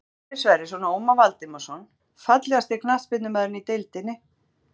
Félagarnir Sverrir Sverrisson og Ómar Valdimarsson Fallegasti knattspyrnumaðurinn í deildinni?